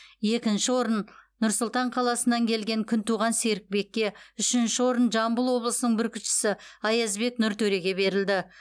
екінші орын нұр сұлтан қаласынан келген күнтуған серікбекке үшінші орын жамбыл облысының бүркітшісі аязбек нұртөреге берілді